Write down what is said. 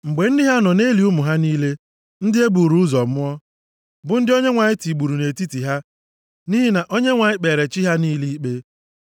mgbe ndị ha nọ na-eli ụmụ ha niile ndị e buru ụzọ mụọ, bụ ndị Onyenwe anyị tigburu nʼetiti ha nʼihi na Onyenwe anyị kpere chi ha niile ikpe.